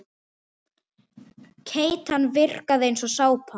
Keytan virkaði eins og sápa.